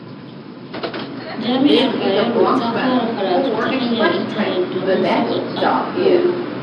Jami'ar Bayero ta fara karatu ta hanyar intanet, domin sauƙaƙa koyo.